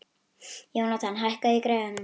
Jónatan, hækkaðu í græjunum.